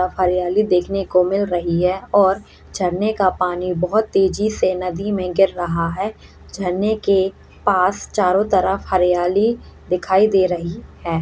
हरियाली देखने को मिल रही है और झरने का पानी बहोत तेजी से नदी में गिर रहा है झरने के पास चारों तरफ हरियाली दिखाई दे रही है।